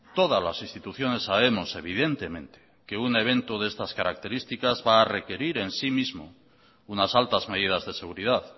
todas las instituciones sabemos evidentemente que un evento de estas características va a requerir en sí mismo unas altas medidas de seguridad